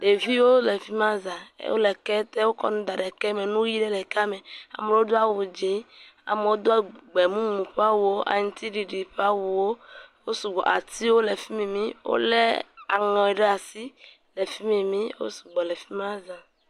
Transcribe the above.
Ɖeviwo le fi ma zãa. Wole ketewo kɔm da ɖe ke me. Nuyi aɖewo le ke me. Ame aɖewo do awu dzi, amewo do awu gbemumu ƒe awuwo, aŋtsiɖiɖi ƒe awuwo. Wosɔ gbɔ, atiwo le fi mi, wole aŋe ɖe asi. Wo sugbɔ le fima za.